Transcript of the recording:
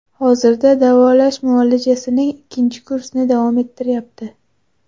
Hozirda davolash muolajasining ikkinchi kursni davom ettiryapti.